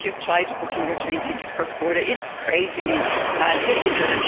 And if you've tried booking your train ticket cross border, it's crazily difficult.